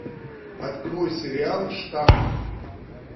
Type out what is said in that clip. открой сериал штамм